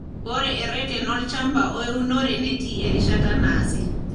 Ore erreten olchamba o eunore netii erishata naasi.